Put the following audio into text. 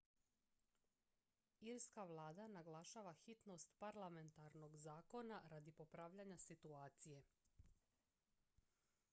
irska vlada naglašava hitnost parlamentarnog zakona radi popravljanja situacije